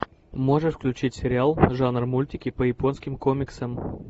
можешь включить сериал жанр мультики по японским комиксам